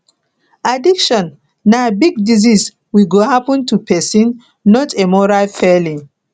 addiction na big disease we go happen to pesin not a moral failing